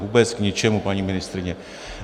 Vůbec k ničemu, paní ministryně.